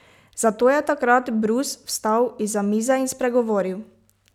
Zato je takrat Brus vstal izza mize in spregovoril.